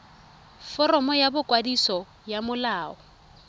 foromo ya boikwadiso ya molao